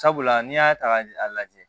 Sabula n'i y'a ta ka a lajɛ